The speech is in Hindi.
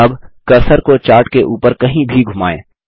अब कर्सर को चार्ट के ऊपर कहीं भी घुमाएँ